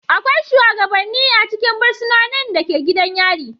Akwai shugabanni a cikin fursunonin da ke gidan yari.